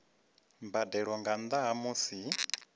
mbadelo nga nnda ha musi